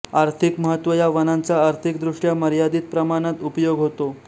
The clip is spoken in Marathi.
आर्थिक महत्त्व या वनाचा आर्थिकदृष्ट्या मर्यादित प्रमाणात उपयोग होतो